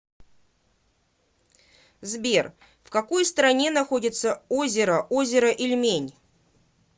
сбер в какой стране находится озеро озеро ильмень